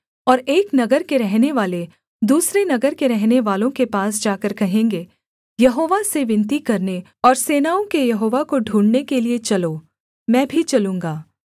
और एक नगर के रहनेवाले दूसरे नगर के रहनेवालों के पास जाकर कहेंगे यहोवा से विनती करने और सेनाओं के यहोवा को ढूँढ़ने के लिये चलो मैं भी चलूँगा